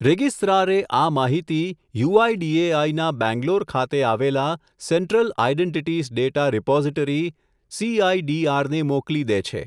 Registrar એ આ માહિતી, U I D A I ના બેંગ્લોર ખાતે આવેલા, central identities data repository CIDR ને મોકલી દે છે.